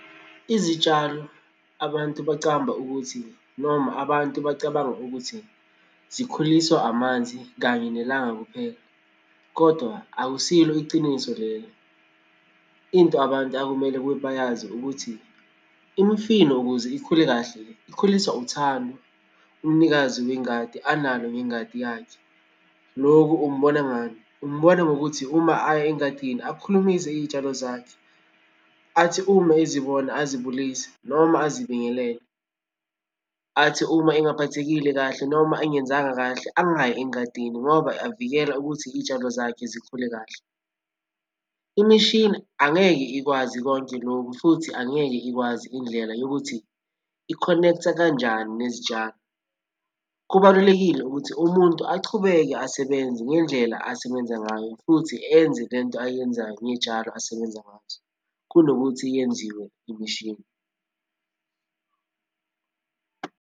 Izitshalo abantu bacamba ukuthi, noma abantu bacabanga ukuthi, zikhuliswa amanzi kanye nelanga kuphela kodwa akusilo iciniso lelo. Into abantu akumele ukuthi bayazi ukuthi imfino ukuze ikhule kahle ikhuliswa uthando umnikazi wengadi analo ngengadi yakhe. Lokhu umbona ngani? Umbona ngokuthi uma aye engadini akhulumise iy'tshalo zakhe, athi uma ezibona azibulise noma azibingelele. Athi uma engaphathekile kahle noma engenzanga kahle angayi engadini ngoba avikela ukuthi iy'tshalo zakhe zikhule kahle. Imishini angeke ikwazi konke lokhu futhi angeke ikwazi indlela yokuthi ikhonektha kanjani nezitshalo. Kubalulekile ukuthi umuntu achubeke asebenze ngendlela asebenza ngayo futhi enze le nto ayenzayo ngey'tshalo asebenza ngazo kunokuthi yenziwe imishini.